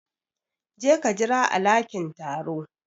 Je ka jira a lakin taro.